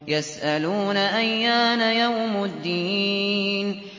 يَسْأَلُونَ أَيَّانَ يَوْمُ الدِّينِ